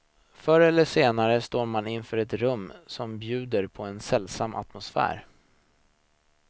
Förr eller senare står man inför ett rum som bjuder på en sällsam atmosfär.